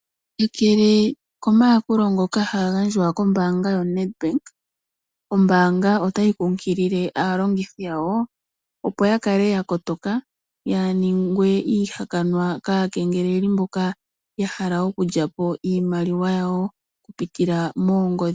Kakele komayakulo ngoka haga gandjwa kombaanga yoNedbank, ombaanga otayi nkunkilile aalongithi yawo opo ya kale ya kotoka yaa ningwe iihakanwa kaa kengeleli mboka ya hala okulya po iimaliwa yawo, oku pitila moongodhi.